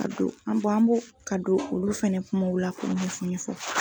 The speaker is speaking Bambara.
Ka don an b'o an b'o ka don olu fɛnɛ kumaw la k'u ɲɛfɔ ɲɛfɔ.